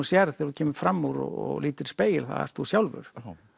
sérð þegar þú kemur fram úr og lítur í spegil það ert þú sjálfur